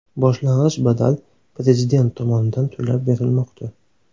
Boshlang‘ich badal Prezident tomonidan to‘lab berilmoqda.